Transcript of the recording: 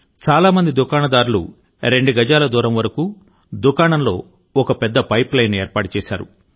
చాలా మంది దుకాణదారులు రెండు గజాల దూరం వరకు దుకాణంలో ఒక పెద్ద పైప్లైన్ను ఏర్పాటు చేశారు